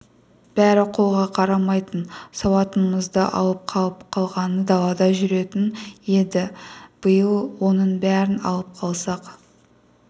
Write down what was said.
бәрі қолға қарамайтын сауатынымызды алып қалып қалғаны далада жүретін енді биыл оның бәрін алып қалсақ